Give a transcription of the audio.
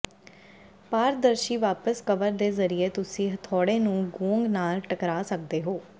ਪਾਰਦਰਸ਼ੀ ਵਾਪਸ ਕਵਰ ਦੇ ਜ਼ਰੀਏ ਤੁਸੀਂ ਹਥੌੜੇ ਨੂੰ ਗੋਂਗ ਨਾਲ ਟਕਰਾ ਸਕਦੇ ਹੋ